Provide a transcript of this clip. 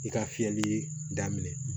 I ka fiyɛli daminɛ